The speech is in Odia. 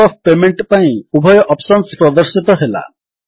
ମୋଡ୍ ଅଫ୍ ପେମେଣ୍ଟ ପାଇଁ ଉଭୟ ଅପ୍ସନ୍ସ ପ୍ରଦର୍ଶିତ ହେଲା